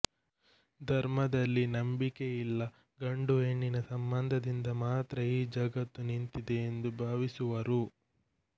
ಧರ್ಮದಲ್ಲಿ ನಂಬಿಕೆಇಲ್ಲ ಗಂಡು ಹೆಣ್ಣಿನ ಸಂಬಂಧದಿಂದ ಮಾತ್ರಾ ಈ ಜಗತ್ತು ನಿಂತಿದೆ ಎಂದು ಭಾವಿಸುವರು